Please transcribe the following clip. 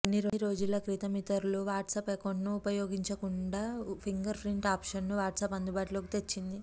కొన్ని రోజుల క్రితం ఇతరులు వాట్సాప్ అకౌంట్ ను ఉపయోగించకుండా ఫింగర్ ప్రింట్ ఆప్షన్ ను వాట్సాప్ అందుబాటులోకి తెచ్చింది